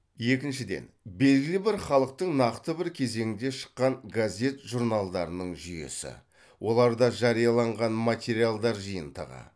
екіншіден белгілі бір халықтың нақты бір кезеңде шыққан газет журналдарының жүйесі оларда жарияланған материалдар жиынтығы